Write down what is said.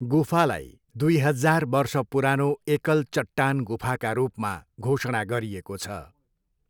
गुफालाई दुई हजार वर्ष पुरानो एकल चट्टान गुफाका रूपमा घोषणा गरिएको छ।